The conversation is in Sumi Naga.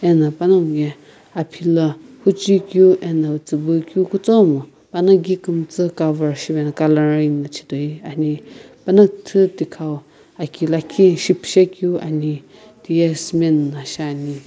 ena panonguye aphila huchui keu ena tsubui keu kutomo panagi kumtsu cover shivena coloring na chhitoi ani pana küthü thikhau aki lakhi shipishe keu ani tiye cement na.